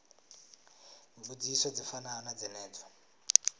mbudziso dzi fanaho na dzenedzo